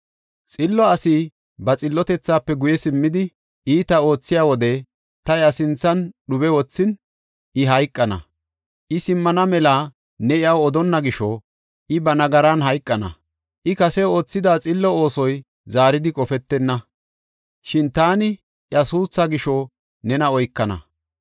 “Xillo asi ba xillotethaafe guye simmidi, iita oothiya wode ta iya sinthan dhube wothin, I hayqana. I simmana mela ne iyaw odonna gisho I ba nagaran hayqana. I kase oothida xillo oosoy zaaridi qofetenna; shin taani iya suuthaa gisho nena oykana.